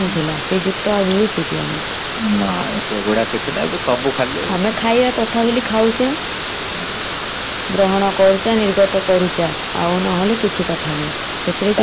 ନା ସେଗୁଡା କିଛି ନାହି ଏବେ ସବୁ ଖାଲି